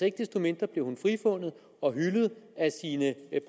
ikke desto mindre blev frifundet og hyldet af sine